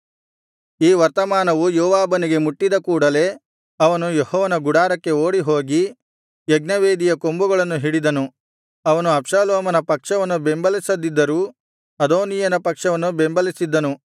ಈ ವರ್ತಮಾನವು ಯೋವಾಬನಿಗೆ ಮುಟ್ಟಿದ ಕೂಡಲೆ ಅವನು ಯೆಹೋವನ ಗುಡಾರಕ್ಕೆ ಓಡಿಹೋಗಿ ಯಜ್ಞವೇದಿಯ ಕೊಂಬುಗಳನ್ನು ಹಿಡಿದನು ಅವನು ಅಬ್ಷಾಲೋಮನ ಪಕ್ಷವನ್ನು ಬೆಂಬಲಿಸದಿದ್ದರು ಅದೋನೀಯನ ಪಕ್ಷವನ್ನು ಬೆಂಬಲಿಸಿದ್ದನು